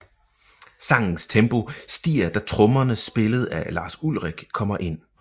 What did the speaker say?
Sangens tempo stiger da trommerne spillet af Lars Ulrich kommer ind